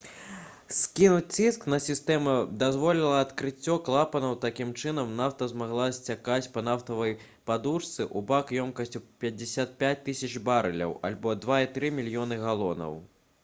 скінуць ціск на сістэму дазволіла адкрыццё клапанаў такім чынам нафта змагла сцякаць па нафтавай падушцы ў бак ёмістасцю 55 000 барэляў альбо 2,3 мільёны галонаў